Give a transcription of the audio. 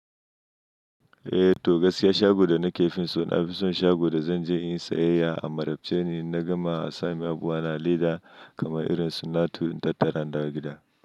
Eh to gaskiya shago da nake fim so na fi son shago da zan je inyi sayayya a Marabce ni, inna gama a samun abu a laida kamar irinsu nato in tattara in dawo gida.